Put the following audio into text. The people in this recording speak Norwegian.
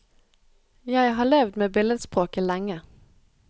Jeg har levd med billedspråket lenge.